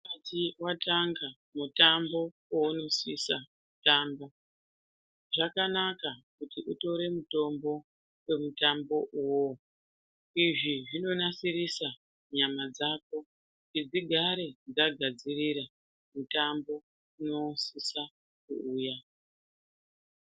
Usati watanga mutambo weunosisa kutamba, zvakanaka kuti utore mutombo wemutambo uwowo. Izvi zvinonasirisa nyama dzako, kuti dzigare dzagadzirira mutambo unosisa kuuya.